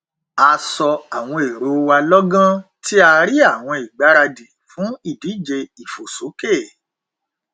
a sọ àwọn èrò wa lọgán tí a rí àwọn ìgbaradì fún ìdíje ìfòsókè